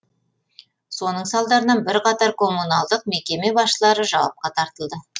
соның салдарынан бірқатар коммуналдық мекеме басшылары жауапқа тартылды